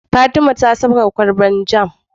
Fatima ta fasa kwalbar jam